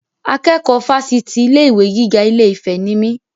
Akẹ́kọ̀ọ́ Fásitì ilé ìwé gíga ilé-ìfẹ́ ni mí.